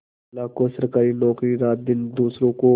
लाखों सरकारी नौकर रातदिन दूसरों का